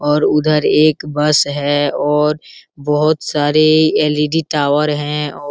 और उधर एक बस है और बहुत सारे एल.ई.डी. टॉवर हैं और --